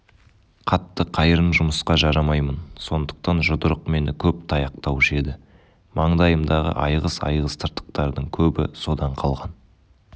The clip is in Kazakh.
қатты-қайырын жұмысқа жарамаймын сондықтан жұдырық мені көп таяқтаушы еді маңдайымдағы айғыз-айғыз тыртықтардың көбі содан қалған